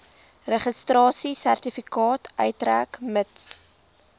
registrasiesertifikaat uitreik mits